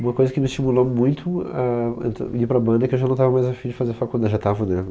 Uma coisa que me estimulou muito a entr ir para a banda é que eu já não estava mais afim de fazer faculd já estava